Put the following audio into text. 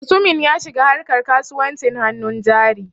Mutumin ya shiga harka kasuwancin hannun jari.